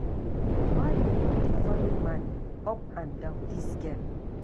Why you go dey follow man up and down dis girl